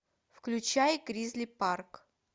включай гризли парк